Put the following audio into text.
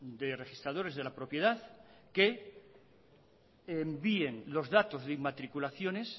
de registradores de la propiedad que envíen los datos de inmatriculaciones